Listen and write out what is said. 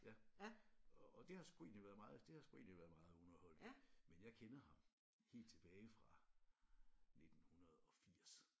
Ja og det har sgu egentlig været meget det har sgu egentlig været meget underholdende men jeg kender ham helt tilbage fra 1980